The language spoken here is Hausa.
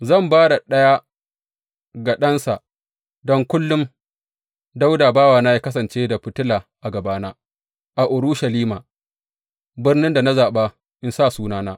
Zan ba da ɗaya ga ɗansa don kullum Dawuda bawana yă kasance da fitila a gabana a Urushalima, birnin da na zaɓa in sa Sunana.